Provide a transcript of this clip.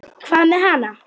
Hvað með hana?